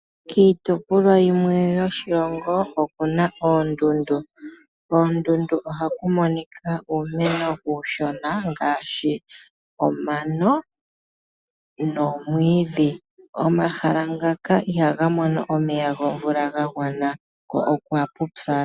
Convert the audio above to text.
Kiitopolwa yimwe yoshilongo oku na oondundu, koondundu ohaku monika uumeno uushona ngaashi omano noomwiidhi. Omahala ngaka ihaga mono omeya gomvula ga gwana ko okwapupyala.